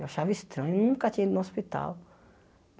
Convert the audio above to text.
Eu achava estranho, nunca tinha ido no hospital.